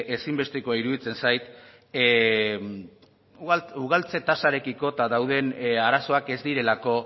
ezinbestekoa iruditzen zait ugaltze tasarekiko dauden arazoak ez direlako